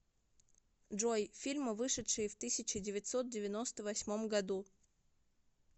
джой фильмы вышедшие в тысяче девятьсот девяносто восьмом году